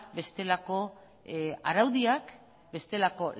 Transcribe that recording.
bestelako araudiak bestelako